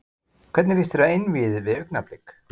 Hvernig lýst þér á einvígið við Augnablik?